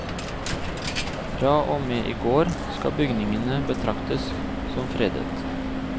Fra og med i går skal bygningene betraktes som fredet.